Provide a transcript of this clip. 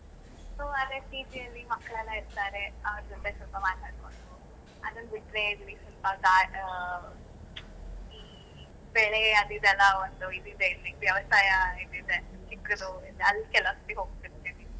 So ಅದೇ PG ಅಲ್ಲಿ ಮಕ್ಳೆಲ್ಲ ಇರ್ತಾರೆ ಅವರ ಜೊತೆ ಸ್ವಲ್ಪ ಮಾತಾಡೋದು, ಅದನ್ನು ಬಿಟ್ರೆ ಇಲ್ಲಿ ಆ ಇಲ್ಲಿ ಬೆಳೆ ಆದಿದೆಲ್ಲಾ ಒಂದು ಇದು ಇದೆ ವ್ಯವಸಾಯ ಇದು ಇದೆ ಚಿಕ್ಕುದು, ಅಲ್ಲಿಗೆ ಕೆಲವು ಸತ್ತಿ ಹೋಗತಿರ್ತಿನಿ.